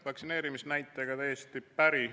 Vaktsineerimisnäitega olen täiesti päri.